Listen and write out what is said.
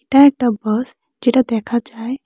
এটা একটা বাস যেটা দেখা যায়।